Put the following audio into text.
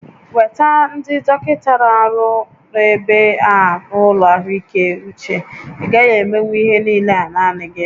Weta ndị dọkịta na-ọrụ n'ebe a n'ụlọ ahụike uche, ị gaghị emenwu ihe niile naanị gị!